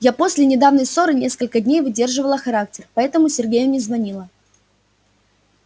я после недавней ссоры несколько дней выдерживала характер поэтому сергею не звонила